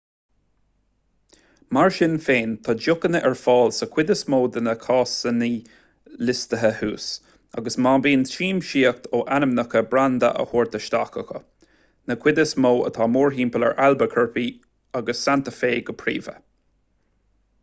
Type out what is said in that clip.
mar sin féin tá deochanna ar fáil sa chuid is mó de na casaíní liostaithe thuas agus bíonn siamsaíocht ó ainmneacha branda á thabhairt isteach acu na cuid is mó atá mórthimpeall ar albuquerque agus santa fe go príomha